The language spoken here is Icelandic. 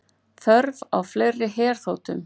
Þörf á fleiri herþotum